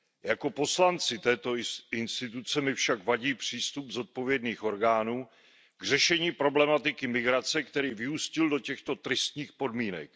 Jako poslanci této instituce mi však vadí přístup zodpovědných orgánů k řešení problematiky migrace, který vyústil do těchto tristních podmínek.